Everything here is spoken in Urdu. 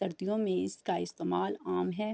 سردیو مے اسکا استمعال ام ہے۔